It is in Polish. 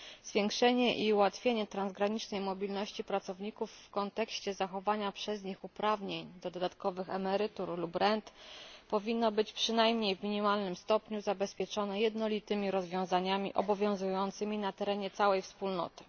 Zwiększenie i ułatwienie transgranicznej mobilności pracowników w kontekście zachowania przez nich uprawnień do dodatkowych emerytur lub rent powinno być przynajmniej w minimalnym stopniu zabezpieczone jednolitymi rozwiązaniami obowiązującymi na terenie całej Wspólnoty.